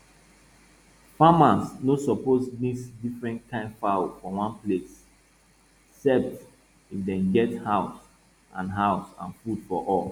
farmers no suppose mix different kain fowl for one place cept if dem get house and house and food for all